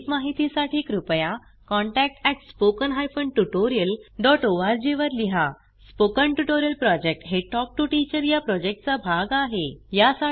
अधिक माहितीसाठी कृपया contact at spoken hyphen tutorial dot ORG वर लिहा स्पोकन ट्युटोरियल प्रॉजेक्ट हे टॉक टू टीचर या प्रॉजेक्टचा भाग आहे